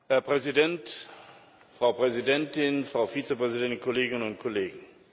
Herr Präsident, Frau Präsidentin, Frau Vizepräsidentin, Kolleginnen und Kollegen!